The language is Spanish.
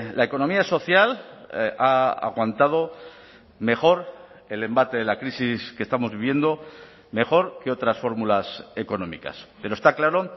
la economía social ha aguantado mejor el embate de la crisis que estamos viviendo mejor que otras fórmulas económicas pero está claro